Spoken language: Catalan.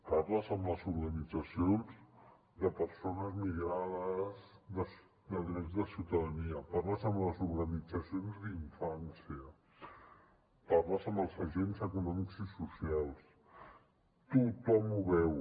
parles amb les organitzacions de persones migrades des de drets de ciutadania parles amb les organitzacions d’infància parles amb els agents econòmics i socials tothom ho veu